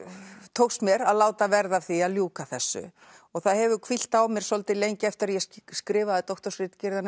tókst mér að láta verða af því að ljúka þessu það hefur hvílt á mér svolítið lengi eftir að ég skrifaði